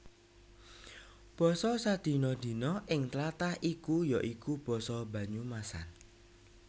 Basa sadina dina ing tlatah iki ya iku basa Banyumasan